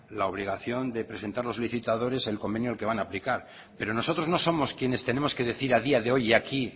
la obligación de presentar los licitadores el convenio al que van a aplicar pero nosotros no somos quienes tenemos que decir a día de hoy y aquí